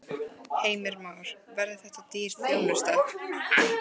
Heimir Már: Verður þetta dýr þjónusta?